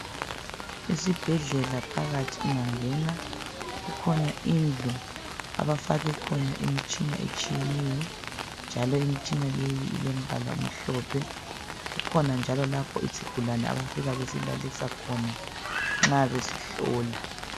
Esibhedlela phakathi ungangena kukhona indlu abafake khona imitshina etshiyeneyo njalo imitshina leyi ilemibala emhlophe kukhona njalo lapho isigulane abafika basilalise khona nxa besihlola.